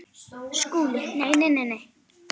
SKÚLI: Nei, nei, nei!